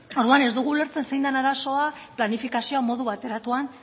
orduan ez dugu ulertzen zein den arazoa planifikazioa modu bateratuan